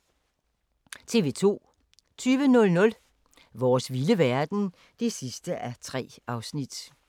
TV 2